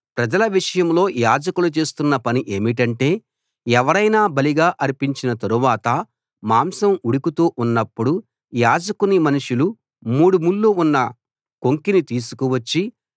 ప్రజల విషయంలో యాజకులు చేస్తున్న పని ఏమిటంటే ఎవరైనా బలిగా అర్పించిన తరువాత మాంసం ఉడుకుతూ ఉన్నపుడు యాజకుని మనుషులు మూడుముళ్ళు ఉన్న కొంకిని తీసుకు వచ్చి